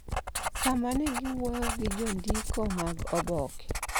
sama ne giwuoyo gi jondiko mag oboke.